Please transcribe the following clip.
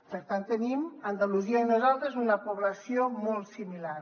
per tant tenim andalusia i nosaltres una població molt similar